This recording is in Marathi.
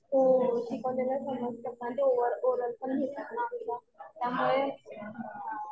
हो शिकवलेलं समजतं आणि ते ओरल पण घेतात ना. त्यामुळे